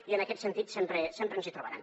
i en aquest sentit sempre ens hi trobaran